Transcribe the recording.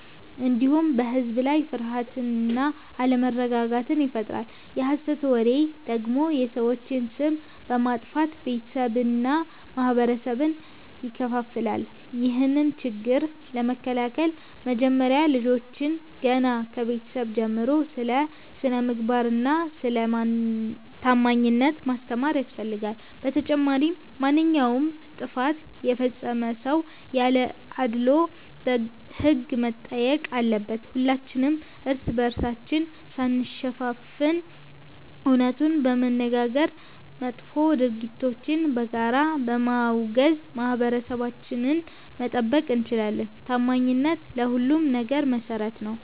እንዲሁም በሕዝብ ላይ ፍርሃትና አለመረጋጋትን ይፈጥራል። የሐሰት ወሬ ደግሞ የሰዎችን ስም በማጥፋት ቤተሰብንና ማኅበረሰብን ይከፋፍላል። ይህንን ችግር ለመከላከል መጀመሪያ ልጆችን ገና ከቤተሰብ ጀምሮ ስለ ስነ-ምግባርና ስለ ታማኝነት ማስተማር ያስፈልጋል። በተጨማሪም ማንኛውም ጥፋት የፈጸመ ሰው ያለ አድልዎ በሕግ መጠየቅ አለበት። ሁላችንም እርስ በርሳችን ሳንሸፋፈን እውነቱን በመነጋገርና መጥፎ ድርጊቶችን በጋራ በማውገዝ ማኅበረሰባችንን መጠበቅ እንችላለን። ታማኝነት ለሁሉም ነገር መሠረት ነው።